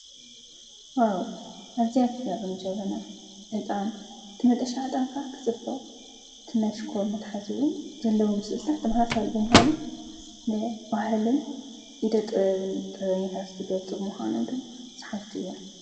ኣዚኣትጋበን ጀበና እጣን ትመጠሻ ኣጣንካ ኽጽፍ ትመሽኮ መትሓዝቡን ዘለዉ ምስልታ ተምሓሳልብ ምሓኑ ን ባህልን ኢደ ጥየብን ጠበኒት ቲገልጽብ ምሓኑምቶም ፀሓትቲ እየ